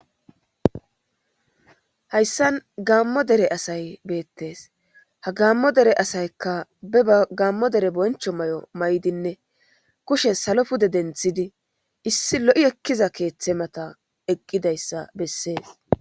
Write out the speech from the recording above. Hayssan gammo dere asay beettes ha gammo dere asaykka be a gaammo dere boncho may7o may7dinne kushe salo pude denthidi issi lo7i ekkiza keeththe mata eqqidayssa bessees